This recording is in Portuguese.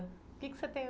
O que que você tem?